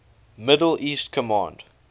middle east command